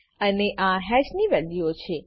અને આ હેશની વેલ્યુઓ છે